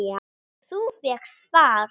Þú fékkst far?